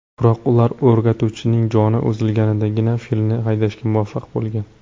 Biroq ular o‘rgatuvchining joni uzilgandagina filni haydashga muvaffaq bo‘lgan.